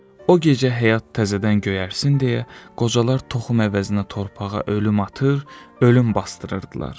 O gecə həyat təzədən göyərsin deyə, qocalar toxum əvəzinə torpağa ölüm atır, ölüm basdırırdılar.